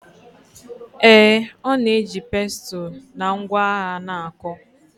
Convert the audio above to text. Ee, ọ na-eji pestle na ngwa agha na-akụ.